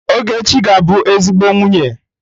Ogechi ga-abụ ezigbo nwunye.